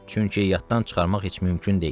Çünki yaddan çıxarmaq heç mümkün deyil.